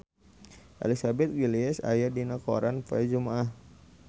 Elizabeth Gillies aya dina koran poe Jumaah